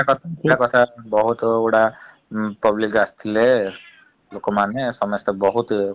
ବହୁତ ଗୁଡା public ଆସିଥିଲେ ଲୋକମାନେ ସମସ୍ତେ ବହୁତ୍ ।